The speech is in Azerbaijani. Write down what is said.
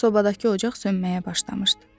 Sobadakı ocaq sönməyə başlamışdı.